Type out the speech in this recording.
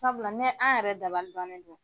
Sabula ne an yɛrɛ dabalibannen don.